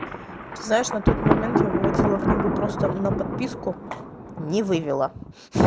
ты знаешь на тот момент его выводила книгу просто на подписку не вывела